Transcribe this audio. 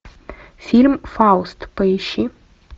фильм фауст поищи